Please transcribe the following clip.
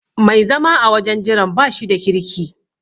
Mai zama a wajen jiran bashi da kirki.